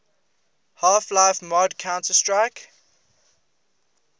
half life mod counter strike